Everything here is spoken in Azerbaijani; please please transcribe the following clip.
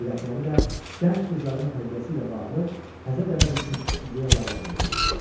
Ürəkləri də gənc qızların tərbiyəsi ilə bağlı təzə dəbə düşmüş ideyalarla dolu idi.